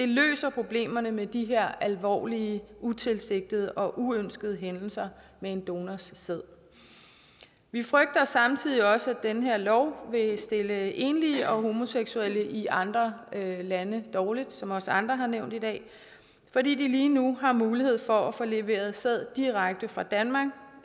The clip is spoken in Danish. løser problemerne med de her alvorlige utilsigtede og uønskede hændelser med en donors sæd vi frygter samtidig også at den her lov vil stille enlige og homoseksuelle i andre lande dårligt som også andre har nævnt i dag fordi de lige nu har mulighed for at få leveret sæd direkte fra danmark